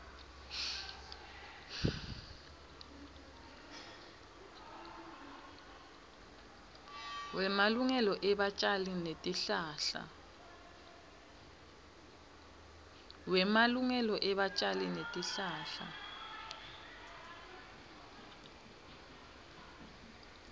wemalungelo ebatjali betihlahla